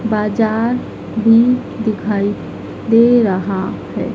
बाजार भी दिखाई दे रहा है।